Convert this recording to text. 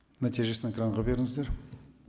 нәтижесін экранға беріңіздер